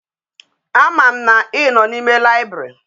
A ma m na i no na ime library